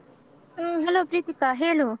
ಹ್ಮ್ Hello Preethika ಹೇಳು.